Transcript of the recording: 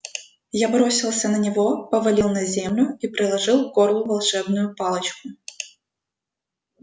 я бросился на него повалил на землю и приложил к горлу волшебную палочку